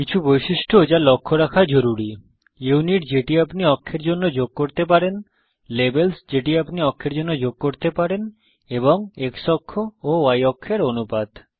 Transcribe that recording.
কিছু বৈশিষ্ট্য যা লক্ষ্য রাখা জরুরি ইউনিট যেটি আপনি অক্ষের জন্য যোগ করতে পারেন লেবেলস যেটি আপনি অক্ষের জন্য যোগ করতে পারেন এবং X অক্ষ ও Y অক্ষ এর অনুপাত